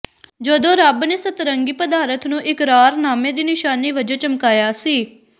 ਜਦੋਂ ਰੱਬ ਨੇ ਸਤਰੰਗੀ ਪਦਾਰਥ ਨੂੰ ਇਕਰਾਰਨਾਮੇ ਦੀ ਨਿਸ਼ਾਨੀ ਵਜੋਂ ਚਮਕਾਇਆ ਸੀ